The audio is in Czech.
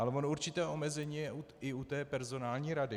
Ale ono určité omezení je i u té personální rady.